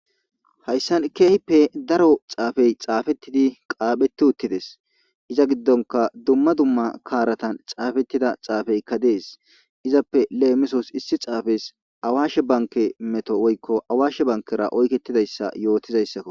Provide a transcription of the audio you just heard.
Haysan kehipe daro xafey xafetidi qaphetidi wotiutides iza gidonka duma duma karatan xafetida xafeyka des izappe lemisos issi xafey awashe banke meto woyko awashe bankera oyketidaysa yotidaysako.